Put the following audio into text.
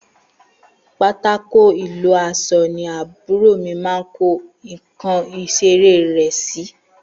Pàtàkó Ilọsọ ni àbúrò mì mà ń kò ikan ìsẹrẹ rẹ si